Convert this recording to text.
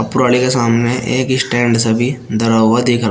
पुराली के सामने एक स्टैंड सा भी धरा हुआ दिख रहा--